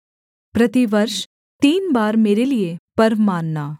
प्रतिवर्ष तीन बार मेरे लिये पर्व मानना